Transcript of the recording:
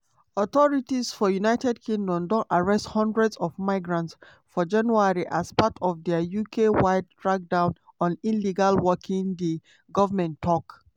authorities for united kingdom don arrest hundreds of migrants for january as part of dia uk-wide crackdown on illegal working di goment tok.